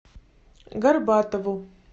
горбатову